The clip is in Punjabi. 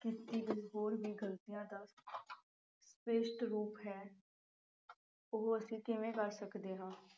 ਕੀਤੀ ਗਈ ਹੋਰ ਵੀ ਗਲਤੀਆਂ ਦਾ ਭ੍ਰਿਸ਼ਟ ਰੂਪ ਹੈ। ਉਹ ਅਸੀਂ ਕਿਵੇ ਕਰ ਸਕਦੇ ਹਾ।